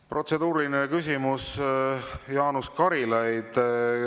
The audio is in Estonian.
Protseduuriline küsimus, Jaanus Karilaid.